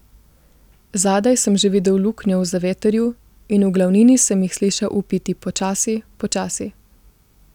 Zadaj sem že videl luknjo v zavetrju in v glavnini sem jih slišal vpiti počasi, počasi.